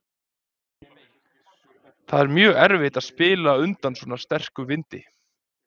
Það er mjög erfitt að spila undan svona sterkum vindi.